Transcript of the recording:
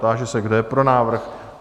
Táži se, kdo je pro návrh?